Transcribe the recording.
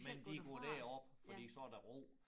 Men de kan gå derop fordi så der ro